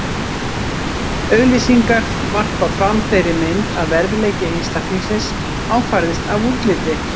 Auglýsingar varpa fram þeirri mynd að verðleiki einstaklingsins ákvarðist af útliti.